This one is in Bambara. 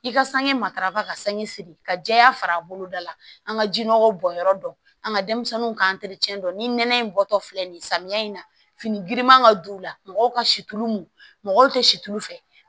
I ka sange matarafa ka sange siri ka jɛya fara boloda la an ka jinɔgɔw bɔnyɔrɔ dɔn an ka denmisɛnninw ka dɔn ni nɛnɛ in bɔtɔ filɛ nin ye samiya in na fini giriman ka don u la mɔgɔw ka situlu mun mɔgɔw tɛ situlu fɛ